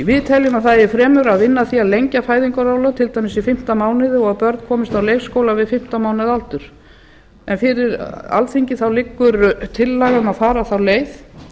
við teljum að það eigi fremur að vinna að því að lengja fæðingarorlof til dæmis í fimmtán mánuði og að börn komist á leikskóla við fimmtán mánaða aldur fyrir alþingi liggur tillaga um að fara þá leið